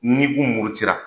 N'i kun murutira